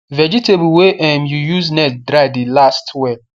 vegetable wey um you use net dry the last well